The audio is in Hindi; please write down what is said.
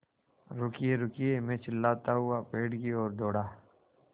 रुकिएरुकिए मैं चिल्लाता हुआ पेड़ की ओर दौड़ा